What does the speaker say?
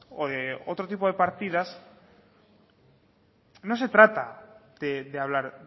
o de otro tipo de partidas no se trata de hablar